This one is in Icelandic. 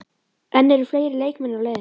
En eru fleiri leikmenn á leiðinni?